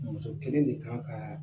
Muso kelen de kan ka